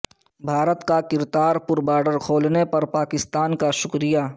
بھارت کا کرتارپور بارڈر کھولنے پر پاکستان کا شکریہ